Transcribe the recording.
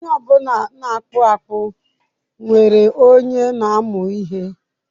Onye ọ bụla na-akpụ akpụ nwere onye na-amụ ihe.